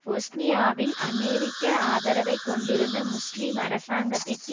பொஸ்னியாவில் அமெரிக்க ஆதரவைக் கொண்டிருந்த முஸ்லிம் அரசாங்கத்திற்கு